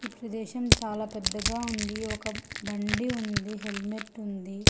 ప్రదేశం చాలా పెద్దగా ఉంది ఒక బండి ఉంది హెల్మెట్ ఉంది.